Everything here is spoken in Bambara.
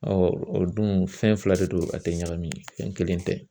o dun fɛn fila de don, a tɛ ɲagami fɛn kelen tɛ